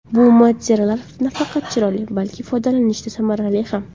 Bu materiallar nafaqat chiroyli, balki foydalanishda samarali ham.